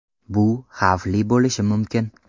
Bu xavfli bo‘lishi mumkin.